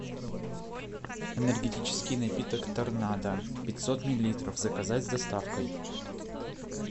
энергетический напиток торнадо пятьсот миллилитров заказать с доставкой